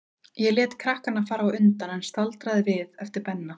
Ég lét krakkana fara á undan, en staldraði við eftir Benna.